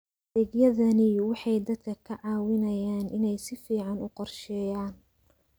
Adeegyadani waxay dadka ka caawiyaan inay si fiican u qorsheeyaan.